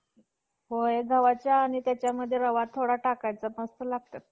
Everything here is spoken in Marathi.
एखाद्याचे नेही छातीला हात लावून मी मत्सनिय अंडे फोडून यातून~ यातून जिवंत म~ मत~ मत्स्यांचे काढीन,